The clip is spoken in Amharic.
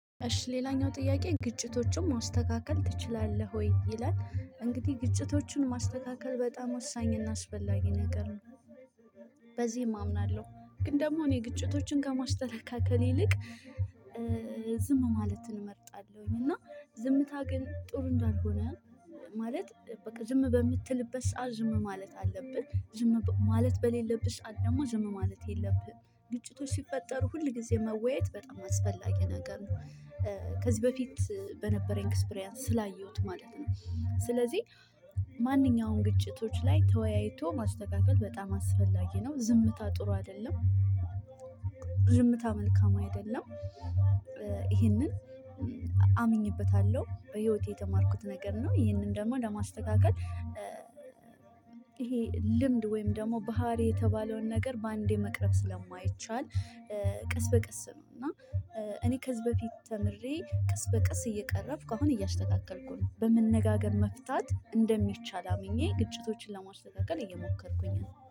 እሽ ሌላኛው ጥያቄ ግጭቶችን ማስተካከል ትችላለህ ወይ? ይላል እንግዲህ ግጭቶችን ማስተካከል በጣም ወሳኝና አስፈላጊ ነገር ነው። በዚህም አምናለሁ ግን ደግሞ እኔ ግጭቶችን ከማስተካከል ይልቅ ዝም ማለት እመርጣለሁኝ። እና ዝምታ ግን ጥሩ እንዳልሆነ ማለት ዝም በምትልበት ሰዓት ዝም ማለት አለብህ። ዝም ማለት በሌለብህ ደግሞ ዝም ማለት የለብህም ግጭቶች ሲፈጠሩ ሁል ጊዜ መወያየት በጣም አስፈላጊ ነገር ነው። ከዚህ በፊት በነበረኝ ኤክስፕሪያንስ ስላየሁት ማለት ነው። ስለዚህ ማንኛውንም ግጭቶች ላይ ተወያይቶ ማስተካከል በጣም አስፈላጊ ነው ዝምታ ጥሩ አይደለም። ዝምታ መልካም አይደለም። ይሄንን አምኜበታለሁ በህይወቴ የተማርኩት ነገር ነው። ይሄንን ደግሞ ለማስተካከል ይሄ ልምድ ወይም ደግሞ ባህሪ የተባለውን ነገር በአንዴ መቅረብ ስለማይቻል ቀስ በቀስ ነው። እና እኔ ከዚህ በፊት ተምሬ ቀስ በቅስ እየቀረብኩ አሁን እያስተካከልኩ በመነጋገር መፍታት እንደሚቻል አምኜ ግጭቶችን ለማስተካከል እየሞከርኩኝ ነው